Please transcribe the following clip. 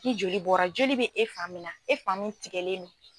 Ni joli bɔra joli bɛ e fan min na e fan min tigɛlen no.